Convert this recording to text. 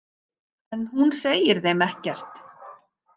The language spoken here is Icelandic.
En hún segir þeim ekkert.